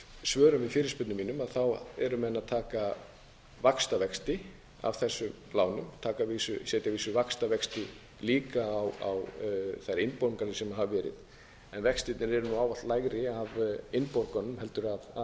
svörum við fyrirspurnum mínum eru menn að taka vaxtavexti af þessum lánum setja að vísu vaxtavexti líka á þær innborganir sem hafa verið en vextirnir hafa ávallt verið lægri af innborgunum heldur en af höfuðstólnum eðli